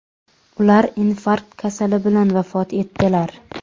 Ular infarkt kasali bilan vafot etdilar.